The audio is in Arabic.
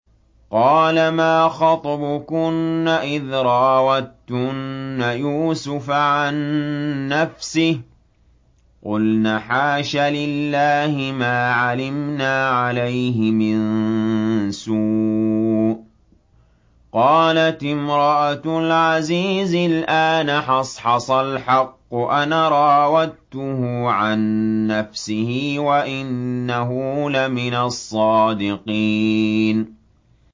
قَالَ مَا خَطْبُكُنَّ إِذْ رَاوَدتُّنَّ يُوسُفَ عَن نَّفْسِهِ ۚ قُلْنَ حَاشَ لِلَّهِ مَا عَلِمْنَا عَلَيْهِ مِن سُوءٍ ۚ قَالَتِ امْرَأَتُ الْعَزِيزِ الْآنَ حَصْحَصَ الْحَقُّ أَنَا رَاوَدتُّهُ عَن نَّفْسِهِ وَإِنَّهُ لَمِنَ الصَّادِقِينَ